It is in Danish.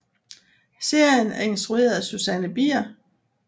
Serien er instrueret af Susanne Bier